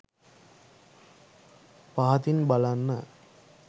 පහතින් බලන්න